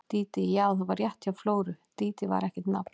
Dídí, já, það var rétt hjá Flóru, Dídí var ekkert nafn.